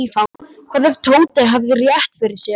Hvað ef Tóti hefði rétt fyrir sér?